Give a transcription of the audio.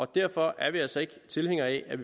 derfor er vi altså ikke tilhængere af at